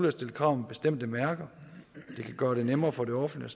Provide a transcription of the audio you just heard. at stille krav om bestemte mærker det kan gøre det nemmere for det offentlige